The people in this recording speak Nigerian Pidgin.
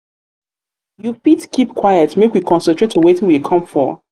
you fit keep quite make we concentrate for wetin we come for.